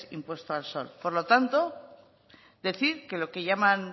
impuesto al sol por lo tanto decir que lo que llaman